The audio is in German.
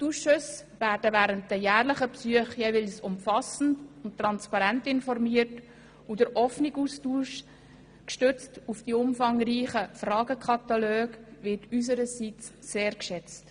Die Ausschüsse werden während den jährlichen Besuchen jeweils umfassend und transparent informiert, und der offene Austausch gestützt auf die umfangreichen Fragenkataloge wird unsererseits sehr geschätzt.